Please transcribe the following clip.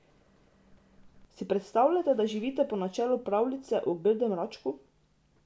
Si predstavljate, da živite po načelu pravljice o grdem račku?